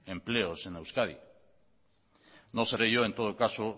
empleos en euskadi no seré yo en todo caso